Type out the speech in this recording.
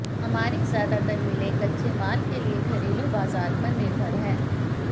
हमारी ज्यादातर मिलें कच्चे माल के लिए घरेलू बाजार पर निर्भर हैं